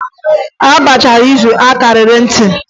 A gbachaa izu a kaara ntị.